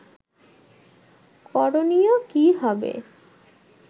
করণীয় কী হবে